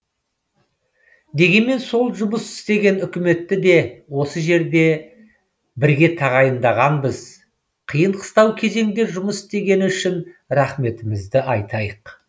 дегенмен сол жұмыс істеген үкіметті де осы жерде бірге тағайындағанбыз қиын қыстау кезеңде жұмыс істегені үшін рахметімізді айтайық